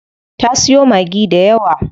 Ta siyo Maggi dayawa.